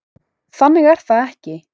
Þannig er það ekki.